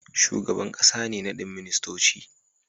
Shugaban ƙasa ne nadin ministoci